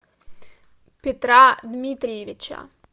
петра дмитриевича